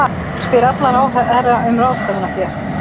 Spyr alla ráðherra um ráðstöfunarfé